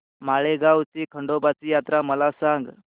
माळेगाव ची खंडोबाची यात्रा मला सांग